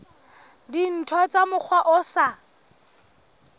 dintho ka mokgwa o sa